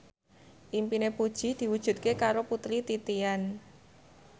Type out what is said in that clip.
impine Puji diwujudke karo Putri Titian